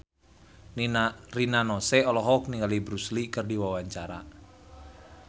Rina Nose olohok ningali Bruce Lee keur diwawancara